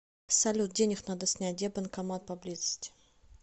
салют денег надо снять где банкомат поблизости